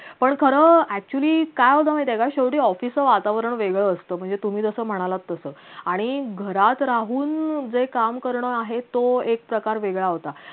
पण खर actually काय होत माहितीये काय शेवटी office च वातावरण वेगळ असत म्हणजे तुम्ही जस म्हणालात तस आणि घरात राहून जे काम करणं आहे तो एक प्रकार वेगळा होता